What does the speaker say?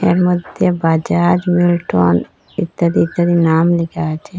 এর মধ্যে বাজাজ মিলটন ইত্যাদি ইত্যাদি নাম লেখা আছে।